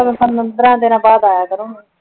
ਪੰਦਰਾਂ ਦੀਨਾ ਬਾਅਦ ਆਯਾ ਕਰੋਂ